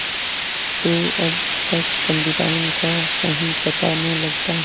तो अब तक पंडिताइन का कहीं पता न लगता